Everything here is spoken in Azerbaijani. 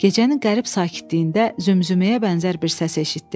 Ağarəhim gecənin qərib sakitliyində zümzüməyə bənzər bir səs eşitdi.